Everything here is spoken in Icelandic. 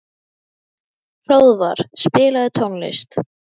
Hróðvar, spilaðu tónlist.